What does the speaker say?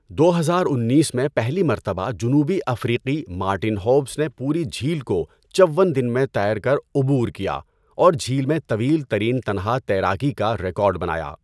دو ہزار انیس میں پہلی مرتبہ جنوبی افریقی مارٹن ہوبز نے پوری جھیل کو چوّن دن میں تیر کر عبور کیا اور جھیل میں طویل ترین تنہا تیراکی کا ریکارڈ بنایا۔